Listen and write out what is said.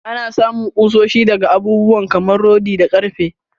Anna samun kushoshi daga abubuwa kamar rodi da karfe.